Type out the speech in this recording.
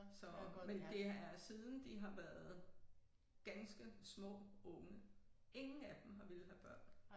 Så men det er siden de har været ganske små unge ingen af dem har villet have børn